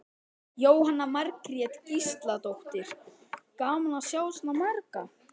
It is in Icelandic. Jóhanna Margrét Gísladóttir: Gaman að sjá svona marga?